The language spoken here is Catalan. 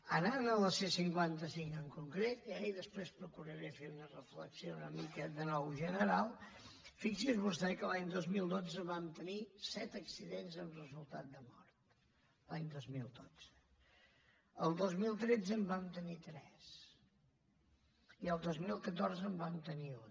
anant a la c cinquanta cinc en concret i després procuraré fer una reflexió una mica de nou general fixi’s vostè que l’any dos mil dotze vam tenir set accidents amb resultat de mort l’any dos mil dotze el dos mil tretze en vam tenir tres el dos mil catorze en vam tenir un